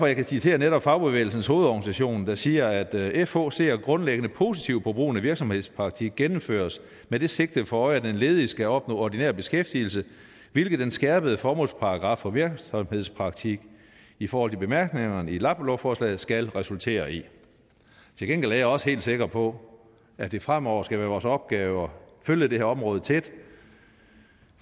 jeg kan citere netop fagbevægelsens hovedorganisation der siger at fh ser grundlæggende positivt på at brugen af virksomhedspraktik gennemføres med det sigte for øje at den ledige skal opnå ordinær beskæftigelse hvilket den skærpede formålsparagraf for virksomhedspraktik i forhold til bemærkningerne i lappelovforslaget skal resultere i til gengæld er jeg også helt sikker på at det fremover skal være vores opgave at følge det her område tæt